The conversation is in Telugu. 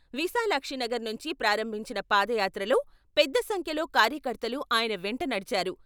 విశాలాక్షినగర్ నుంచి ప్రారంభించిన పాదయాత్రలో పెద్ద సంఖ్యలో కార్యకర్తలు ఆయన వెంట నడిచారు.